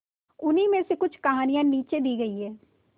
उन्हीं में से कुछ कहानियां नीचे दी गई है